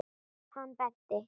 Hann benti.